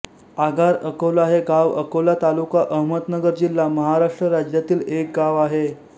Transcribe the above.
आगार अकोला हे गाव अकोला तालुका अहमदनगर जिल्हा महाराष्ट्र राज्यातील एक गाव आहे